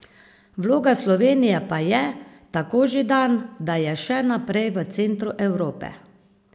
Vloga Slovenije pa je, tako Židan, da je še naprej v centru Evrope.